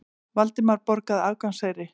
Valdimar borgaði aðgangseyri.